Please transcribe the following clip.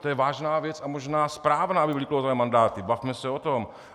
To je vážná věc a možná správná, aby byly klouzavé mandáty, bavme se o tom.